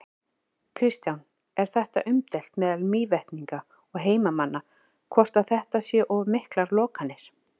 Kristján: Er þetta umdeilt meðal Mývetninga og heimamanna, hvort að þetta séu of miklar lokanir?